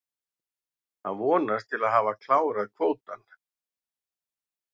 Hann vonast til að hafa klárað kvótann.